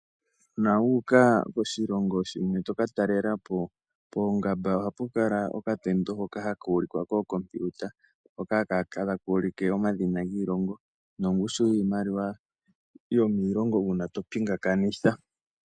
Uuna wu uka koshilongo shimwe toka talela po ,poongamba ohapu kala okatendo hoka haka ulikwa kookompiuta hoka ha ka ulike omadhina giimaliwa nongushu yomiilongo uuna to pingakanitha.